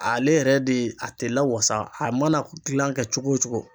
Ale yɛrɛ de a tɛ lawasa a mana gilan kɛ cogo o cogo.